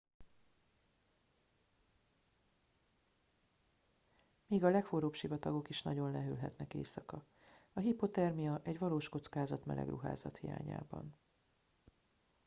még a legforróbb sivatagok is nagyon lehűlhetnek éjszaka a hipothermia egy valós kockázat meleg ruházat hiányában